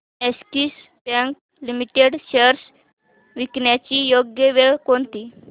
Axis Bank limited shares विकण्याची योग्य वेळ कोणती